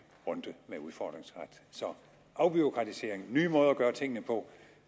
runde med udfordringsret så afbureaukratisering nye måder at gøre tingene på